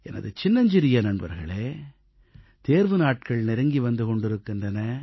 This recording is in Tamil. எனது சின்னஞ்சிறிய நண்பர்களே தேர்வு நாட்கள் நெருங்கி வந்து கொண்டிருக்கின்றன